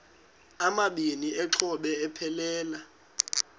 amabini exhobe aphelela